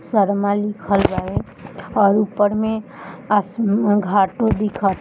शर्मा लिखल बावे और ऊपर में अस्म घाटो दिखत --